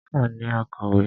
A ní akọ̀wé.